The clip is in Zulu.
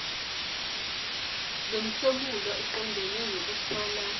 lomhlomulo oqondene nokuthola